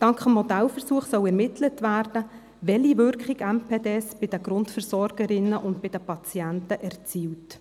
Dank des Modellversuchs soll ermittelt werden, welche Wirkung MPD bei den Grundversorgerinnen und bei den Patienten erzielen.